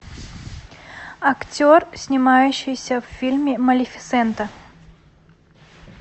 актер снимающийся в фильме малефисента